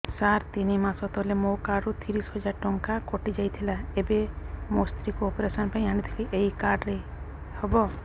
ସାର ତିନି ମାସ ତଳେ ମୋ କାର୍ଡ ରୁ ତିରିଶ ହଜାର ଟଙ୍କା କଟିଯାଇଥିଲା ଏବେ ମୋ ସ୍ତ୍ରୀ କୁ ଅପେରସନ ପାଇଁ ଆଣିଥିଲି ଏଇ କାର୍ଡ ରେ ହବ